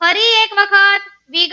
ફરી એક વાર વખત.